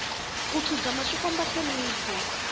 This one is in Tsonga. ku khidzama swi komba ku hlonipha